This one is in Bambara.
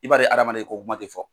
I b'a hadamaden e kokuma tɛ fɔ.